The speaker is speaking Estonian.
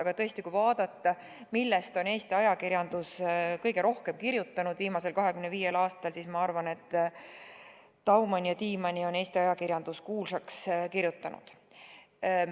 Aga tõesti, kui vaadata, millest on Eesti ajakirjandus viimasel 25 aastal kõige rohkem kirjutanud, siis ma arvan, et Daumani ja Tiimanni on ajakirjandus kuulsaks kirjutanud.